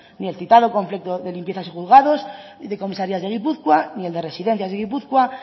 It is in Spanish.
ni el citado conflicto de limpiezas de juzgados de comisarías de gipuzkoa ni el de residencias de gipuzkoa